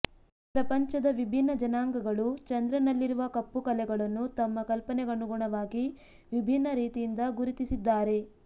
ಪ್ರಪಂಚದ ವಿಭಿನ್ನ ಜನಾಂಗಗಳು ಚಂದ್ರನಲ್ಲಿರುವ ಕಪ್ಪುಕಲೆಗಳನ್ನು ತಮ್ಮ ಕಲ್ಪನೆಗನುಗುಣವಾಗಿ ವಿಭಿನ್ನ ರೀತಿಯಿಂದ ಗುರುತಿಸಿದ್ದಾರೆ